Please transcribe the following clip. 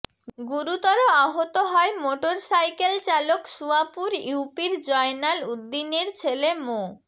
গুরুতর আহত হয় মোটরসাইকেলচালক সুয়াপুর ইউপির জয়নাল উদ্দিনের ছেলে মো